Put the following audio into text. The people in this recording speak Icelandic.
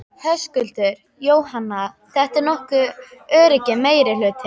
Höskuldur: Jóhanna, þetta var nokkuð öruggur meirihluti?